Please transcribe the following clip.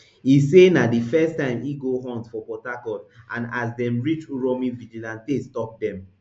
e say na di first time e go hunt for port harcourt and as dem reach uromi vigilante stop dem